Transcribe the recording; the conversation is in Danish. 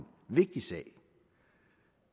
vigtig sag